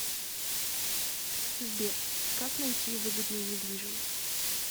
сбер как найти выгодную недвижимость